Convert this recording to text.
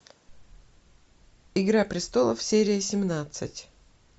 игра престолов серия семнадцать